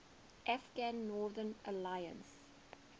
afghan northern alliance